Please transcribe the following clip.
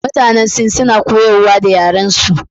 Mutanen Sin suna koyarwa da yarensu.